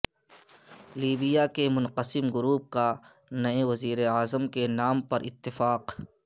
Libya کے منقسم group کا نئے وزیر اعظم کے نام پر اتفاق